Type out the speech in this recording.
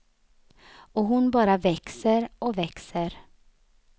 Och hon bara växer och växer.